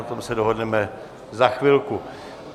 Na tom se dohodneme za chvilku.